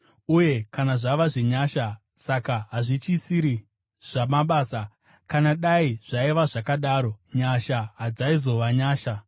Uye kana zvava zvenyasha, saka hazvichisiri zvamabasa; kana dai zvaiva zvakadaro, nyasha hadzaizova nyasha.